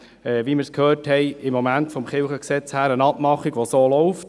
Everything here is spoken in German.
Wie wir gehört haben, besteht eine Abmachung im LKG.